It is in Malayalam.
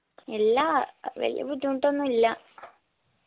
ഇല്ലാ വെല്യ ബുദ്ധിമുട്ടൊന്നില്ല